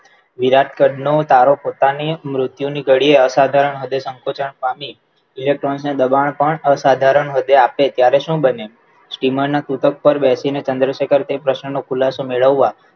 વિરાટ પદનું તારો પોતાની મૃત્યુની ઘડી અસાધારણ હદે સંકોચન પામી electron ને દબાણ પણ અસાધારણ વધ્યા અર્થે ત્યારે શું બન્યું વિમાનના સૂચક ઉપર બેસીને ચંદ્રશેખર તે પ્રશ્નનો ખુલાસો મેળવવા